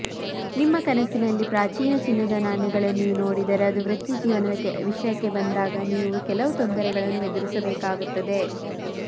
ನಿಮ್ಮ ಕನಸಿನಲ್ಲಿ ಪ್ರಾಚೀನ ಚಿನ್ನದ ನಾಣ್ಯಗಳನ್ನು ನೀವು ನೋಡಿದರೆ ಅದು ವೃತ್ತಿಜೀವನದ ವಿಷಯಕ್ಕೆ ಬಂದಾಗ ನೀವು ಕೆಲವು ತೊಂದರೆಗಳನ್ನು ಎದುರಿಸಬೇಕಾಗುತ್ತದೆ